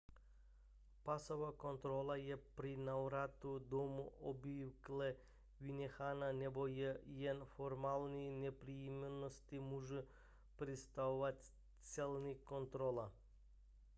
pasová kontrola je při návratu domů obvykle vynechána nebo je jen formální nepříjemnost může představovat celní kontrola